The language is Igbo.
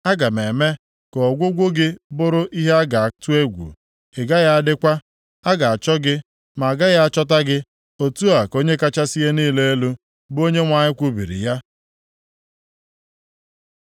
Aga m eme ka ọgwụgwụ gị bụrụ ihe a ga-atụ egwu. Ị gaghị adịkwa. A ga-achọ gị, ma agaghị achọta gị. Otu a ka Onye kachasị ihe niile elu, bụ Onyenwe anyị kwubiri ya.”